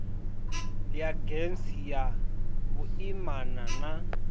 ya gems ya vhuimana na